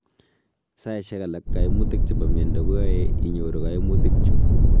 Saishek alak kaimutik chebo miondo koae inyor kaimutik chu